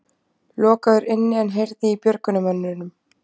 Lokaður inni en heyrði í björgunarmönnum